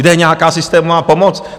Kde je nějaká systémová pomoc?